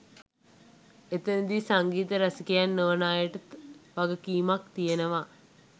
එතැනදී සංගීත රසිකයින් නොවන අයට වගකීමක් තියෙනවා